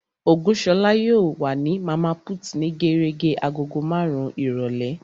Ògúnṣọlá yóò wà ní Màmá put ní gérégé agogo marun-un ìrọ̀lẹ́